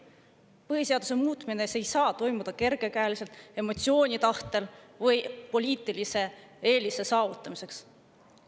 Põhiseaduse muutmine ei saa toimuda kergekäeliselt, emotsiooni ajel või poliitilise eelise saavutamiseks.